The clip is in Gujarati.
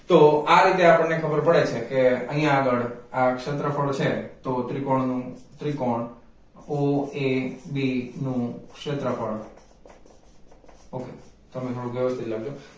તો આ રીતે આપણને ખબર પડે છે કે અહીંયા આગળ આ ક્ષેત્રફળ છે તો ત્રિકોણ નું ત્રિકોણ OAB નું ક્ષેત્રફળ okay તમે થોડું વ્યવસ્થિત લખજો